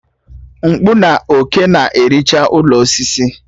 Mkpụ na òké na-ericha ụlọ osisi